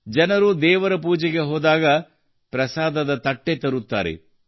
ಜನರು ದೇವರ ಪೂಜೆಗೆ ಹೋದಾಗ ಪ್ರಸಾದದ ತಟ್ಟೆ ತರುತ್ತಾರೆ